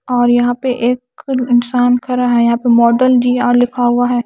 और यहां पे एक इंसान खड़ा है यहां पे मॉडल जी आर लिखा हुआ है।